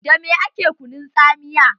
Da me ake kunun tsamiya?